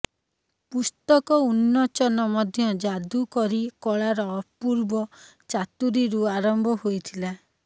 ପୁସ୍ତକ ଉନ୍ମୋଚନ ମଧ୍ୟ ଯାଦୁକରୀ କଳାର ଅପୂର୍ବ ଚାତୁରୀରୁ ଆରମ୍ଭ ହୋଇଥିଲା